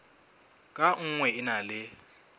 ka nngwe e na le